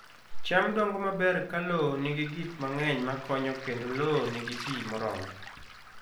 Cham dongo maber ka lowo nigi gik mang'eny makonyo kendo lowo nigi pi moromo.